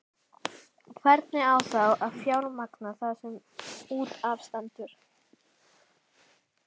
Hvernig á þá að fjármagna það sem út af stendur?